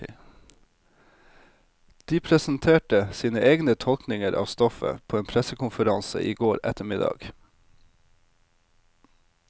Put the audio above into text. De presenterte sine egne tolkninger av stoffet på en pressekonferanse i går ettermiddag.